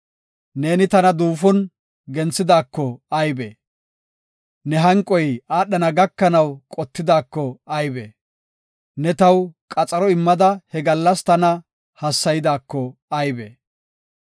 Neeni tana duufon genthidaako aybe! Ne hanqoy aadhana gakanaw qottidaako aybe! Ne taw qamida he gallas tana hassaydaako aybe!